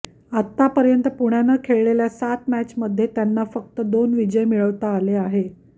आत्तापर्यंत पुण्यानं खेळलेल्या सात मॅचमध्ये त्यांना फक्त दोन विजय मिळवता आले आहेत